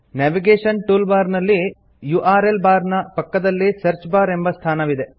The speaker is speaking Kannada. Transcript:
ನೇವಿಗೇಷನ್ ಟೂಲ್ಬಾರ್ ನಲ್ಲಿ ಯುಆರ್ಎಲ್ ಬಾರ್ ನ ಪಕ್ಕದಲ್ಲಿ ಸರ್ಚ್ ಬಾರ್ ಎಂಬ ಸ್ಥಾನವಿದೆ